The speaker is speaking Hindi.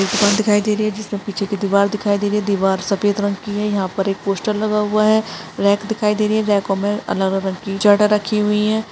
एक दुकान दिखाई दे रही है जिसमें पीछे की दीवार दिखाई दे रही है दीवार सफ़ेद रंग की है यहाँ पर एक पोस्टर लगा हुआ है रेक दिखाई दे रही है रेको में अलग-अलग की जड़ रखी हुई है।